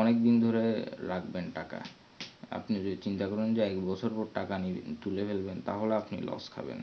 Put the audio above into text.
অনেক দিন ধরে রাখবেন টাকা আপনি যে চিন্তা করেন যে এক বছর পর টাকা নিয়ে নেবেন তুলে ফেলবেন তাহলে আপনি loss খাবেন।